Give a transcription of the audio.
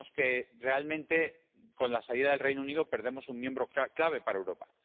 Vemos que, realmente, con la salida del Reino Unido perdemos un miembro clave para Europa.